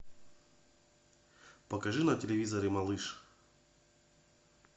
покажи на телевизоре малыш